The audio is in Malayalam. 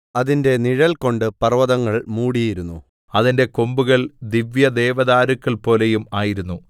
അതിന്റെ നിഴൽകൊണ്ട് പർവ്വതങ്ങൾ മൂടിയിരുന്നു അതിന്റെ കൊമ്പുകൾ ദിവ്യദേവദാരുക്കൾപോലെയും ആയിരുന്നു